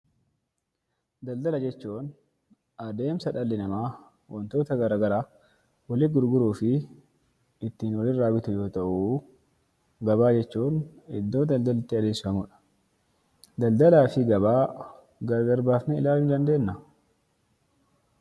Daldala jechuun adeemsa dhalli namaa wantoota gara garaa walitti gurguruu fi ittiin walirraa bitu yoo ta'u, gabaa jechuun iddoo daldalli itti adeemsifamudha. Daldalaa fi gabaa gargar baafnee ilaaluu ni dandeennaa?